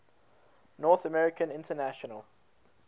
north american international